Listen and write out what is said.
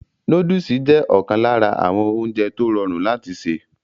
Nóódùsì jẹ́ ọ̀kan lára àwọn oúnjẹ tó rọrùn láti sè